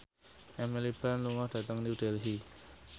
Emily Blunt lunga dhateng New Delhi